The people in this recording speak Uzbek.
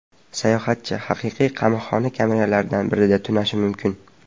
Sayohatchi haqiqiy qamoqxona kameralaridan birida tunashi mumkin.